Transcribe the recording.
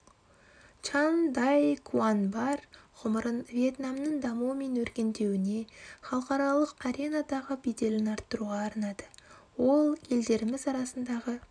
чан дай куангбар ғұмырын вьетнамның дамуы мен өркендеуіне халықаралық аренадағы беделін арттыруға арнады ол елдеріміз арасындағы